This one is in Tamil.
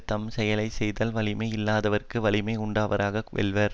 தம் செயலை செய்தால் வலிமை இல்லாதவறும் வலிமை உடையவராக வெல்வர்